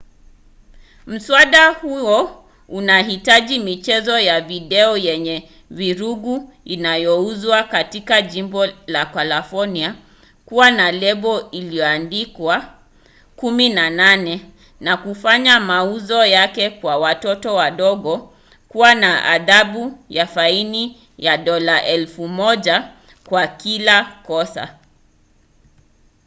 mswada huo unahitaji michezo ya video yenye vurugu inayouzwa katika jimbo la kalifornia kuwa na lebo iliyoandikwa 18 na kufanya mauzo yake kwa watoto wadogo kuwa na adhabu ya faini ya dola 1000 kwa kila kosa